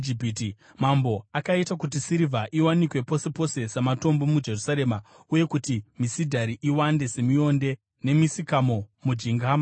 Mambo akaita kuti sirivha iwanikwe pose pose samatombo muJerusarema uye kuti misidhari iwande semionde yemisikamo mujinga mamakomo.